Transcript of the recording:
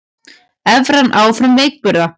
Evran áfram veikburða